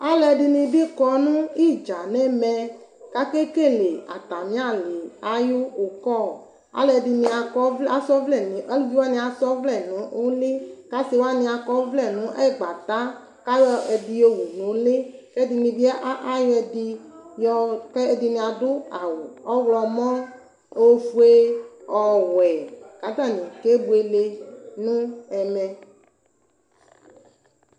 Alʋɛdinibi kɔnʋ idza nʋ ɛmɛ kʋ akekele atami ali ayʋ ʋkɔ alʋvi wani asa ɔvlɛ nʋ ʋli kʋ asi wani akɔ ɔvlɛ nʋ ɛgbata kʋ ayɔ ɛdi yɔwʋ nʋ ʋli kʋ ɛdinibi adʋ awʋ ɔwlɔmɔ efue ɔwɛ kʋ atani kebuele nʋ ɛmɛ